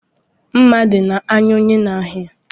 ụtọ mmadụ dị na iche iche